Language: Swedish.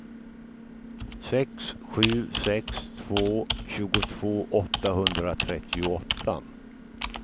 sex sju sex två tjugotvå åttahundratrettioåtta